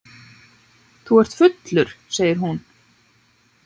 Þú ert fullur, segir hún.